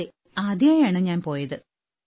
അതെ ആദ്യമായാണ് ഞാൻ പോയത്